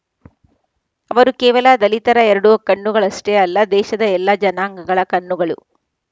ಅವರು ಕೇವಲ ದಲಿತರ ಎರಡು ಕಣ್ಣುಗಳಷ್ಟೆ ಅಲ್ಲ ದೇಶದ ಎಲ್ಲ ಜನಾಂಗಗಳ ಕಣ್ಣುಗಳು